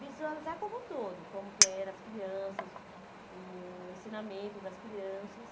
Visualizar como um todo, como que eram as crianças, o ensinamento das crianças.